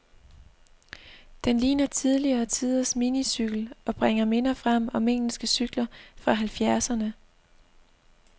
Den ligner tidligere tiders minicykel, og bringer minder frem om engelske cykler fra halvfjerdserne.